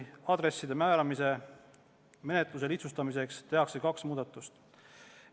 Aadresside määramise menetluse lihtsustamiseks tehakse kaks muudatust.